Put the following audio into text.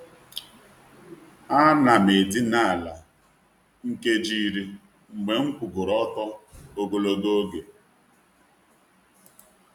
A na'm edina n’ala nkeji iri mgbe m kwugoro ọtọ ogologo oge.